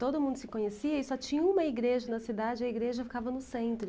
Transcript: Todo mundo se conhecia e só tinha uma igreja na cidade, a igreja ficava no centro.